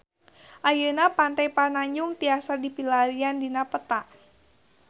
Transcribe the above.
Ayeuna Pantai Pananjung tiasa dipilarian dina peta